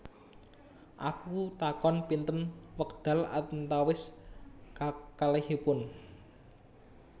Aku takon Pinten wekdal antawis kakalihipun